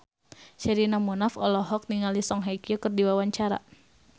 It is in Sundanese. Sherina Munaf olohok ningali Song Hye Kyo keur diwawancara